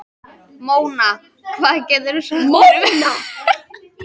Mona, hvað geturðu sagt mér um veðrið?